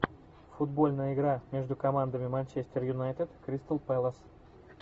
футбольная игра между командами манчестер юнайтед кристал пэлас